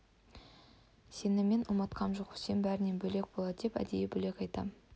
сені мен ұмытқам жоқ үсен бәрінен бөлек болады деп әдейі бөліп айтам